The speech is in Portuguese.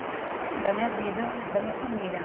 Assim, da minha vida, da minha família.